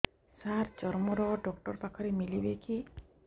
ସାର ଚର୍ମରୋଗ ଡକ୍ଟର ପାଖରେ ମିଳିବେ କି